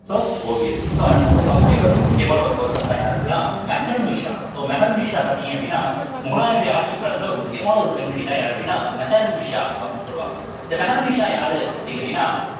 so ஓவியர்கள் so அடுத்து நம்ம பார்க்கக்கூடிய ஒரு முக்கியமான ஒரு person தான் யாரு அப்படின்னா மெஹரு நிஷா so மெஹருநிஷா பார்த்தீங்க அப்படின்னா முகலாயருடைய ஆட்சிக் காலத்துல ஒரு முக்கியமான ஒரு பெண்மணிதான் யாரு அப்படின்னா மெஹர்நிஷா அப்படின்னு சொல்லுவாங்க இந்த மெஹருநிஷா யாரு அப்படின்னு கேட்டீங்கன்னா